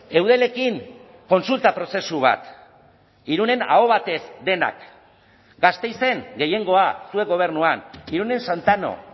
eudelekin kontsulta prozesu bat irunen aho batez denak gasteizen gehiengoa zuek gobernuan irunen santano